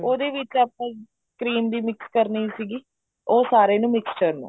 ਉਹਦੇ ਵਿੱਚ ਆਪਾਂ cream ਵੀ mix ਕਰਨੀ ਸੀਗੀ ਉਹ ਸਾਰੇ ਨੂੰ mixture ਨੂੰ